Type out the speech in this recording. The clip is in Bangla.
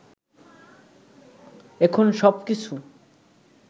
এখন সবকিছু